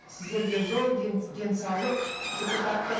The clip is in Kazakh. сіздерге денсаулық депутаттық